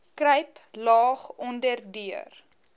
kruip laag onderdeur